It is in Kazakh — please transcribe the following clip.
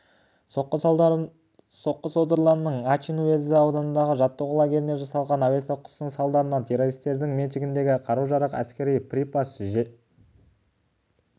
соққы содырлардың ачин уезді ауданындағы жаттығу лагеріне жасалған әуе соққысының салдарынан террористердің меншігіндегі қару-жарақ әскери припас пен жарылғыш заттардың да көзі